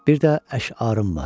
Bir də əşarım var.